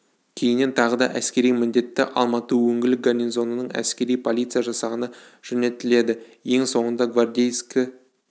кейіннен тағы да әскери міндетті алматы өңірлік гарнизонының әскери полиция жасағына жөнелтіледі ең соңында гвардейскі